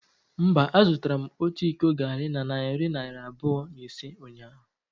Mba, azụtara m otu iko garri na narị naira abụọ na ise ụnyahụ.